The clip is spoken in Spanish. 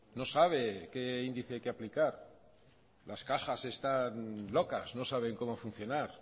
no sabe qué índice hay que aplicar las cajas están locas no saben como funcionar